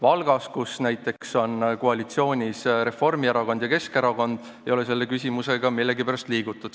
Aga näiteks Valgas, kus on koalitsioonis Reformierakond ja Keskerakond, ei ole selle küsimusega millegipärast edasi liigutud.